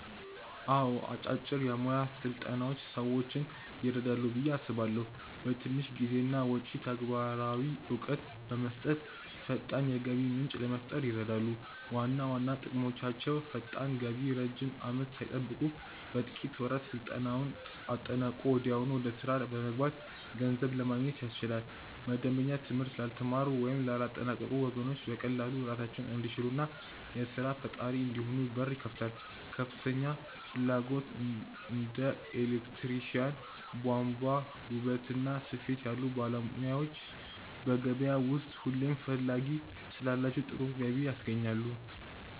አዎ አጫጭር የሞያ ስልጠናዎች ሰዎችን ይረዳሉ ብዬ አስባለሁ። በትንሽ ጊዜና ወጪ ተግባራዊ እውቀት በመስጠት ፈጣን የገቢ ምንጭ ለመፍጠር ይረዳሉ። ዋና ዋና ጥቅሞቻቸው ፈጣን ገቢ ረጅም አመት ሳይጠብቁ በጥቂት ወራት ስልጠናውን አጠናቆ ወዲያውኑ ወደ ስራ በመግባት ገንዘብ ለማግኘት ያስችላል። መደበኛ ትምህርት ላልተማሩ ወይም ላላጠናቀቁ ወገኖች በቀላሉ ራሳቸውን እንዲችሉና የስራ ፈጣሪ እንዲሆኑ በር ይከፍታል። ከፍተኛ ፍላጎት እንደ ኤሌክትሪሻን፣ ቧንቧ፣ ውበትና ስፌት ያሉ ሞያዎች በገበያው ውስጥ ሁሌም ፈላጊ ስላላቸው ጥሩ ገቢ ያስገኛሉ።